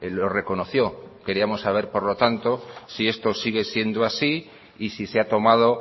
lo reconoció queríamos saber por lo tanto si esto sigue siendo así y si se ha tomado